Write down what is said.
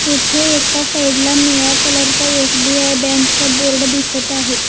इथे एका साईड ला निळ्या कलर चा एस_बी_आय बँक चा बोर्ड दिसत आहे.